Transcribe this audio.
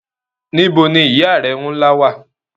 Níbo ni ìyá rẹ nla wa?